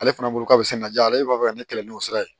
Ale fana bolo k'a bɛ se ka na ja ale b'a fɛ ka ne kɛlɛ n'o sira ye